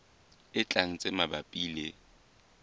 e tlang tse mabapi le